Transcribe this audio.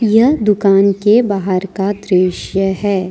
यह दुकान के बाहर का दृश्य है।